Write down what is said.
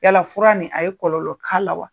Yala fura nin a ye kɔlɔlƆ k'a la wa?